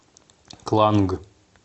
кланг